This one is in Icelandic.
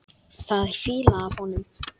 Það er fýla af honum.